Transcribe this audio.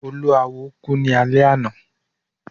Olúawo ku ni alẹ ana